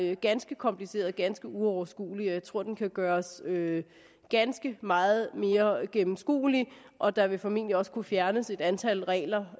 er ganske kompliceret ganske uoverskuelig og jeg tror at den kan gøres ganske meget mere gennemskuelig og der vil formentlig også kunne fjernes et antal regler